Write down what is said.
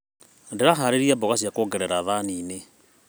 Ndĩraharĩria mboga cia kuongerera thani-inĩ.